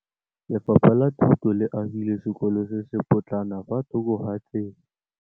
Lefapha la Thuto le agile sekôlô se se pôtlana fa thoko ga tsela.